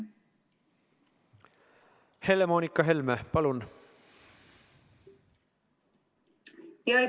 Helle-Moonika Helme, palun!